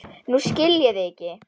Nú skil ég þig ekki.